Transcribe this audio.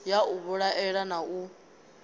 ya u vhilaela na u